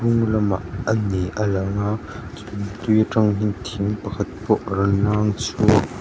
lamah a ni a lang a tui aṭang hian thing pakhat pawh rawn lâng chhuak--